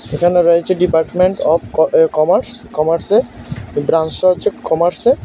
এখানে রয়েছে department of uh commerce কমার্সের ব্রাঞ্চটা হচ্ছে কমার্সের।